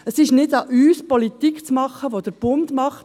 Es ist nicht an uns, Politik zu machen, die der Bund macht.